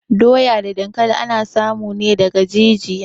Doya da dankali ana samu ne daga jijiya